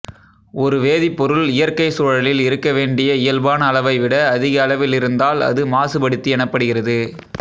ஒரு வேதிப்பொருள் இயற்கைச் சூழலில் இருக்க வேண்டிய இயல்பான அளவைவிட அதிக அளவில் இருந்தால் அது மாசுபடுத்தி எனப்படுகிறது